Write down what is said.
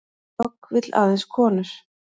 Dogg vill aðeins konur